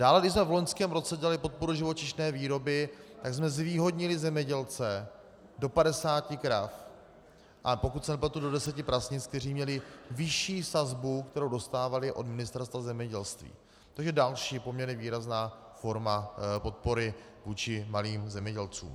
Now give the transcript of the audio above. Dále když jsme v loňském roce dělali podporu živočišné výroby, tak jsme zvýhodnili zemědělce do 50 krav, a pokud se nepletu, do 10 prasnic, kteří měli vyšší sazbu, kterou dostávali od Ministerstva zemědělství, což je další poměrně výrazná forma podpory vůči malým zemědělcům.